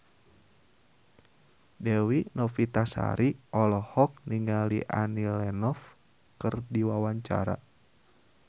Dewi Novitasari olohok ningali Annie Lenox keur diwawancara